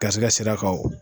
Garisɛgɛ sira kan